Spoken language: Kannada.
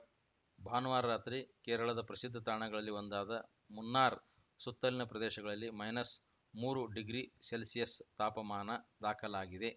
ಭಾನುವಾರ ರಾತ್ರಿ ಕೇರಳದ ಪ್ರಸಿದ್ಧ ತಾಣಗಳಲ್ಲಿ ಒಂದಾದ ಮುನ್ನಾರ್‌ ಸುತ್ತಲಿನ ಪ್ರದೇಶಗಳಲ್ಲಿ ಮೈನಸ್‌ ಮೂರು ಡಿಗ್ರಿ ಸೆಲ್ಷಿಯಸ್ ತಾಪಮಾನ ದಾಖಲಾಗಿದೆ